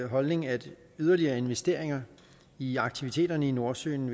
holdning at yderligere investeringer i aktiviteterne i nordsøen